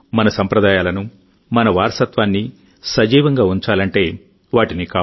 మన సంప్రదాయాలను మన వారసత్వాన్ని సజీవంగా ఉంచాలంటేవాటిని కాపాడాలి